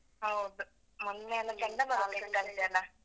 ಹೌದು, ಮೊನ್ನೆಯೆಲ್ಲ ಚಂಡಮಾರುತ ಇತ್ತಂತೆ ಅಲ್ಲಾ.